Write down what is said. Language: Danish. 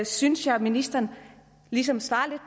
synes jeg at ministeren ligesom svarede